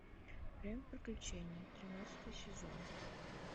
время приключений тринадцатый сезон